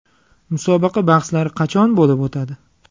Musobaqa bahslari qachon bo‘lib o‘tadi?